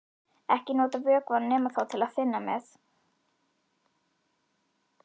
Ekki nota vökvann nema þá til að þynna með.